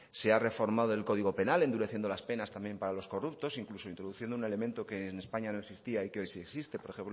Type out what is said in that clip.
se ha reformado el código penal endureciendo las penas también para los corruptos incluso introduciendo un elemento que en españa no existía y que hoy sí existe por